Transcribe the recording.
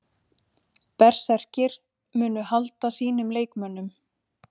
Berserkir: Munu halda sínum leikmönnum.